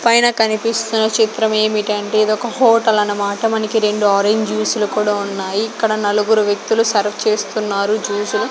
పైన కనిపిస్తున్న చిత్రం ఏమిటంటే ఇది ఒక హోటల్ అన్నమాట. మనకి రెండు ఆరెంజ్ జ్యూస్ లు కూడా ఉన్నాయి ఇక్కడ నలుగురు వ్యక్తులు సర్వ్ చేస్తున్నారు జ్యూసు లు.